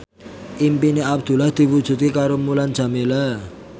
impine Abdullah diwujudke karo Mulan Jameela